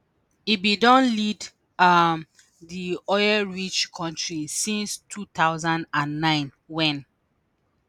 im bin don lead um di oil-rich kontri since 2009 wen